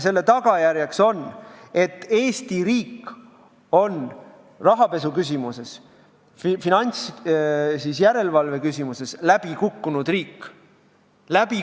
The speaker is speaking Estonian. Selle tagajärjeks on, et Eesti riik on rahapesuküsimuses, finantsjärelevalveküsimuses läbikukkunud riik.